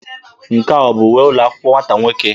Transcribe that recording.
Nke a ọ bụ uwe ụlọ akwụkwọ nwata nwoke?